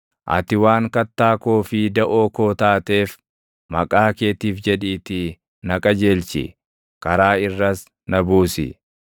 Ati waan kattaa koo fi daʼoo koo taateef, maqaa keetiif jedhiitii na qajeelchi; karaa irras na buusi.